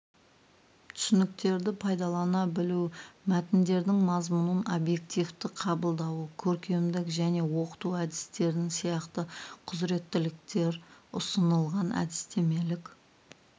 түсініктерді пайдалана білуі мәтіндердің мазмұнын объективті қабылдауы көркемдік және оқыту әдістерін сияқты құзыреттіліктер ұсынылған әдістемелік